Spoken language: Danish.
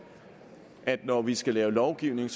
at når vi skal lave lovgivning